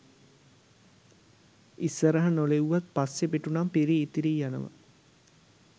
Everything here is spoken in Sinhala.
ඉස්සරහ නොලිව්වත් පස්සෙ පිටුනම් පිරී ඉතිරී යනව